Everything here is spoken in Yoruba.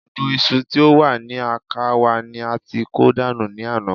Gbogbo iṣu tí ó wà ní àká wa ni a ti kó dànù ní àná